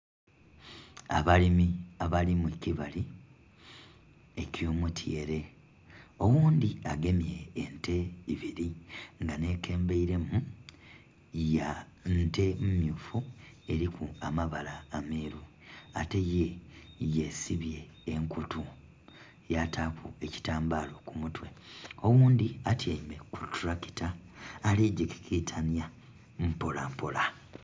Abalimi abali mukibali ekyomutyeere oghundhi agemye ente ibiri nga nhe kulemberemu nte mmyufu eriku amabala ameru ate ye' sibye enkutu yataku ekitambalo kumutwe oghundhi atyeime kutulakita aligikitanya mpola mpola